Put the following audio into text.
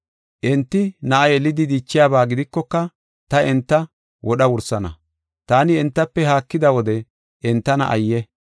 Enti na7a yelidi dichiyaba gidikoka ta enta wodha wursana. Taani entafe haakida wode entana ayye!